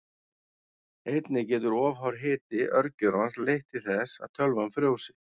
Einnig getur of hár hiti örgjörvans leitt til þess að tölvan frjósi.